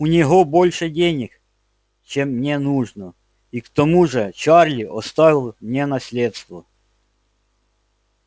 у него больше денег чем мне нужно и к тому же чарли оставил мне наследство